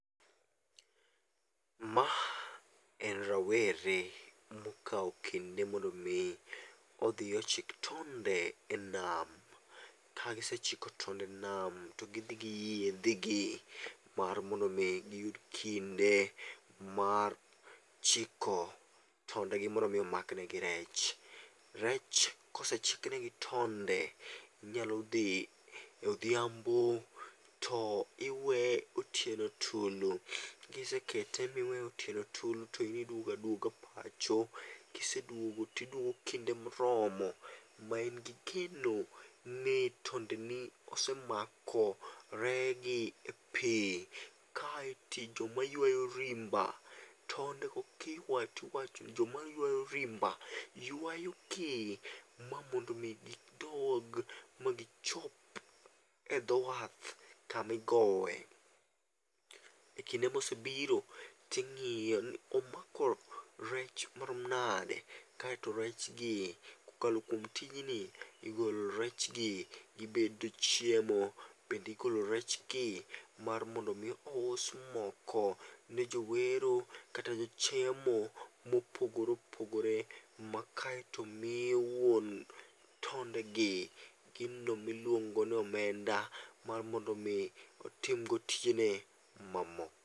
Ma en rowere mokawo kinde mondo mi othie ochik tonde e nam, kagisechiko tonde e nam to gi thi gi yiethigi mar mondo mi oyud kinde mar chiko tondegi mondo mi omaknegi rech, rech kosechiknegi tonde, inyalo thi odhiambo to tiweye otieno tulu, kiseweye kiseweye otieno tulu to in idwago adwoga pacho kisedwogo to idwogo kinde moromo ma in gi geno ni tondeni osemakore gi pi , kae ti to joma ywayo rimba tondego kiywayo to jomaywayo rimba ywayogi ma mondo gidod magichop e dho wath kamigowe, e kinde mosebiro tingi'yo ni to omako rech maromo nade kaeto rechgi kae kokalo kuom tijni igolo rechgi gibedo chiemo, bende igolo rechgi mondo omi ous moko ne jo wero kata ne jochiemo mopogore opogore ma kaeto miyo wuon tondegi gino miluongo' ni omenda mar mondo mi otimgo tijene mamoko.